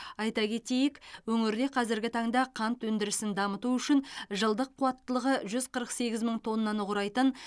айта кетейік өңірде қазіргі таңда қант өндірісін дамыту үшін жылдық қуаттылығы жүз қырық сегіз мың тоннаны құрайтын